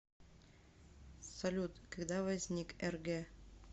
салют когда возник рг